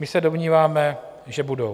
My se domníváme, že budou.